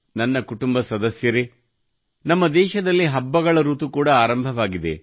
ನನ್ನ ಕುಟುಂಬ ಸದಸ್ಯರೇ ನಮ್ಮ ದೇಶದಲ್ಲಿ ಹಬ್ಬಗಳ ಋತು ಕೂಡಾ ಆರಂಭವಾಗಿದೆ